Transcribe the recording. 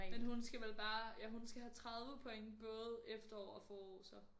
Men hun skal vel bare ja hun skal have 30 point både efterår og forår så